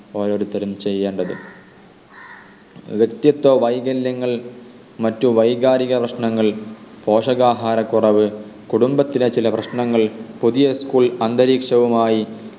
ഓരോരുത്തരും ചെയ്യേണ്ടത് വ്യക്തിത്വ വൈകല്യങ്ങൾ മറ്റു വൈകാരിക പ്രശ്നങ്ങൾ പോഷകാഹാരക്കുറവ് കുടുംബത്തിലെ ചില പ്രശ്നങ്ങൾ പുതിയ school അന്തരീക്ഷവുമായി